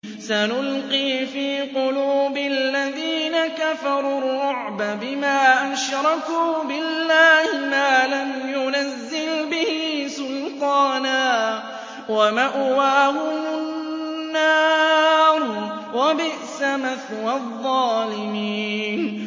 سَنُلْقِي فِي قُلُوبِ الَّذِينَ كَفَرُوا الرُّعْبَ بِمَا أَشْرَكُوا بِاللَّهِ مَا لَمْ يُنَزِّلْ بِهِ سُلْطَانًا ۖ وَمَأْوَاهُمُ النَّارُ ۚ وَبِئْسَ مَثْوَى الظَّالِمِينَ